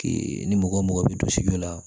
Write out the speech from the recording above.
ni mɔgɔ mɔgɔ bɛ don sigi la